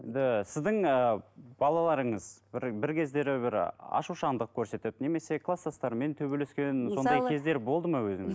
сіздің ііі балаларыңыз бір бір кездері бір ашушаңдық көрсетіп немесе кластастарымен төбелескен сондай кездері болды ма